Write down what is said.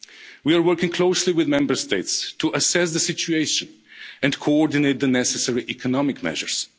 We are working closely with Member States to assess the situation and coordinate the necessary economic measures.